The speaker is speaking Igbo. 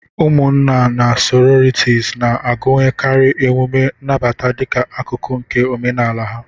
Ụmụnna na sororities na-agụnyekarị emume nnabata dịka akụkụ nke omenala ha.